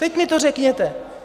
Teď mi to řekněte!